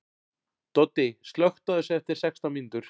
Doddi, slökktu á þessu eftir sextán mínútur.